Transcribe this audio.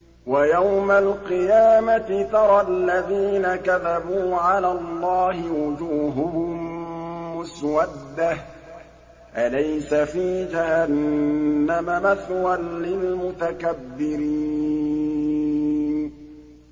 وَيَوْمَ الْقِيَامَةِ تَرَى الَّذِينَ كَذَبُوا عَلَى اللَّهِ وُجُوهُهُم مُّسْوَدَّةٌ ۚ أَلَيْسَ فِي جَهَنَّمَ مَثْوًى لِّلْمُتَكَبِّرِينَ